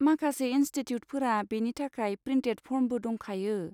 माखासे इनस्टिटिउटफोरा बेनि थाखाय प्रिन्टेद फर्मबो दंखायो।